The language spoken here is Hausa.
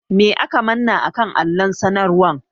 Me aka manna a kan allon sanarwan?